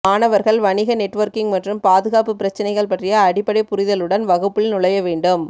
மாணவர்கள் வணிக நெட்வொர்க்கிங் மற்றும் பாதுகாப்பு பிரச்சினைகள் பற்றிய அடிப்படை புரிதலுடன் வகுப்பில் நுழைய வேண்டும்